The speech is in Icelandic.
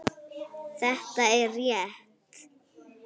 Þetta er rétt.